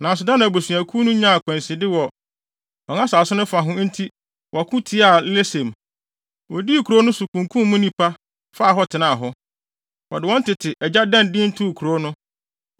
Nanso Dan abusuakuw no nyaa akwanside wɔ wɔn asase no fa ho enti wɔko tiaa Lesem. Wodii kurow no so, kunkum mu nnipa, faa hɔ, tenaa hɔ. Wɔde wɔn tete agya Dan din too kurow no.